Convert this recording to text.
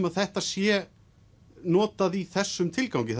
að þetta sé notað í þessum tilgangi